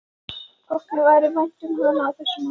Þótti mér vænt um hana á þessum árum?